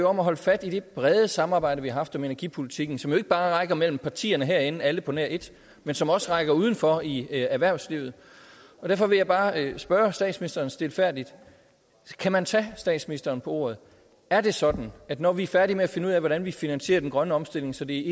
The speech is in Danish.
om at holde fast i det brede samarbejde vi har haft om energipolitikken som ikke bare rækker mellem partierne herinde alle på nær et men som også rækker udenfor i erhvervslivet derfor vil jeg bare spørge statsministeren stilfærdigt kan man tage statsministeren på ordet er det sådan at når vi er færdige med at finde ud af hvordan vi finansierer den grønne omstilling så det